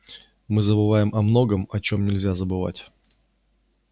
мы забываем о многом о чем нельзя забывать